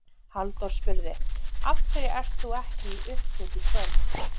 Halldór spurði: Af hverju ert þú ekki í upphlut í kvöld?